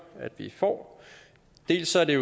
at vi får dels er det